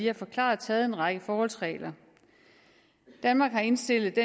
har forklaret taget en række forholdsregler danmark har indstillet